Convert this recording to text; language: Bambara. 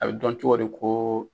A bɛ dɔn cogo di ko